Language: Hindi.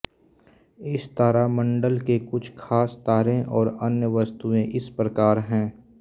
इस तारामंडल के कुछ ख़ास तारे और अन्य वस्तुएँ इस प्रकार हैं